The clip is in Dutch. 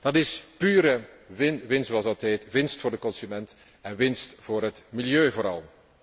Dat is pure winst, zoals dat heet, winst voor de consument en winst voor het milieu vooral.